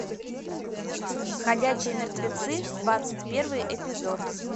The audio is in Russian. ходячие мертвецы двадцать первый эпизод